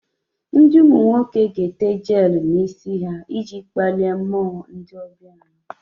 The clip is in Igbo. Ndi umu nwoke gi ga-ete jelu n'isi ha iji kpalie mmuo ndi obia anyi